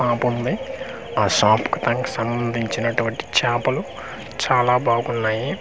Shop ఉంది ఆ షాపుకు సంబంధించినటువంటి చేపలు చాలా బాగున్నాయి.